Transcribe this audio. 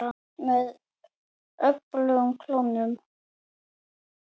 Með öfugum klónum.